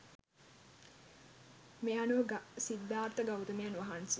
මේ අනුව සිද්ධාර්ථ ගෞතමයන් වහන්සේ